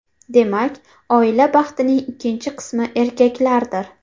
Demak, oila baxtining ikkinchi qismi erkaklardir.